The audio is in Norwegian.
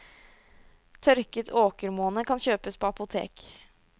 Tørket åkermåne kan kjøpes på apotek.